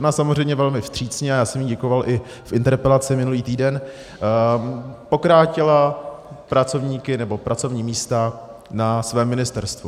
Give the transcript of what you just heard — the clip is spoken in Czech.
Ona samozřejmě velmi vstřícně - a já jsem jí děkoval i v interpelaci minulý týden - pokrátila pracovníky nebo pracovní místa na svém ministerstvu.